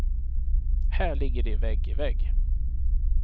Här ligger de vägg i vägg.